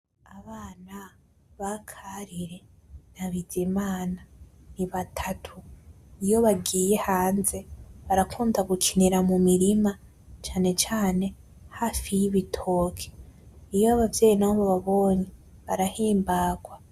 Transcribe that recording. Abana ba Karire na Bizimana ni batatu, iyo bagiye hanze barakunda gukinira mu mirima cane cane hafi y'ibitoke , iyo abavyeyi nabo bababonye barahimbarwa.